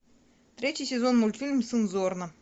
третий сезон мультфильм сын зорна